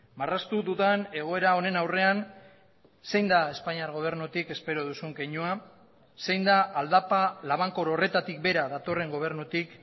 marraztu dudan egoera honen aurrean zein da espainiar gobernutik espero duzun keinua zein da aldapa labankor horretatik bera datorren gobernutik